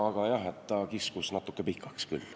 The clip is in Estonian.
Aga jah, ta kiskus natuke pikaks küll.